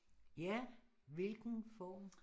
Ja hvilken form